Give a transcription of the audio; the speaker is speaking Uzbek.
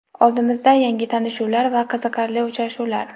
Oldimizda - yangi tanishuvlar va qiziqarli uchrashuvlar.